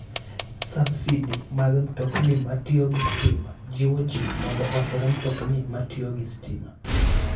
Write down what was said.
Subsidi mag mtokni matiyo gi stima jiwo ji mondo oher mtokni matiyo gi stima.